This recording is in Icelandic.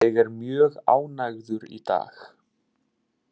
Ég er mjög ánægður í dag.